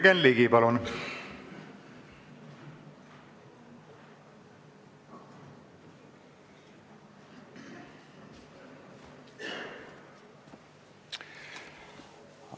Jürgen Ligi, palun!